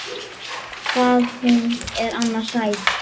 Hvað hún er annars sæt!